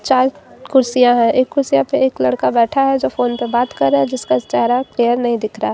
कुर्सियां है एक कुर्सियां पे एक लड़का बैठा है जो फोन पे बात कर रहा है जिसका चेहरा क्लियर नहीं दिख रहा--